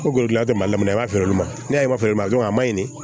Kolotugula tɛmɛnna i b'a feere olu ma n'a y'a ye fara ma a ma ɲin